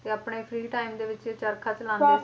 ਤੇ ਆਪਣੇ free time ਦੇ ਵਿੱਚ ਚਰਖਾ ਚਲਾਉਂਦੇ